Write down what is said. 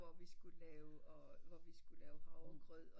Hvor vi skulle lave og hvor vi skulle lave havregrød